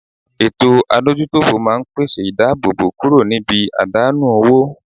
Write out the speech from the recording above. Eto adojutofo maa n pese idabobo kuro nibi adanu owo